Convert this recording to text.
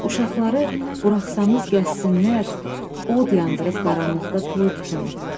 Uşaqları buraxsanız gəzsinlər, od yandırıb qaranlıqda toy tutun.